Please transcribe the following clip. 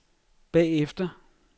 bagefter